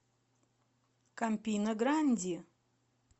кампина гранди